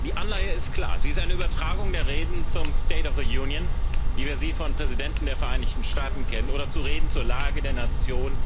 Die Anleihe ist klar Sie ist eine Übertragung der Reden zum wie wir sie von Präsidenten der Vereinigten Staaten kennen, oder der Reden zur Lage der Nation,